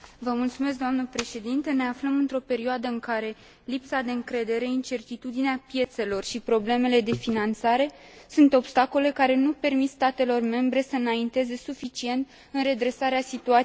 Ne aflăm într o perioadă în care lipsa de încredere, incertitudinea piețelor și problemele de finanțare sunt obstacole care nu permit statelor membre să înainteze suficient în redresarea situației economice.